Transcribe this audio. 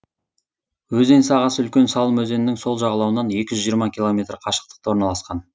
өзен сағасы үлкен салым өзенінің сол жағалауынан екі жүз жиырма километр қашықтықта орналасқан